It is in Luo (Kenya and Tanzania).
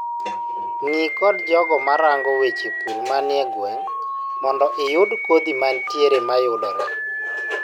Ngii kod jogo ma rango weche pur manie gweng' mondo I yud kodhi mantiere mayudore.